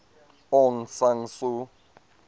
aung san suu